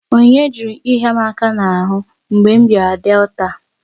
Onyinye jụrụ ịhịa m aka n'ahụ mgbe m bịara Delta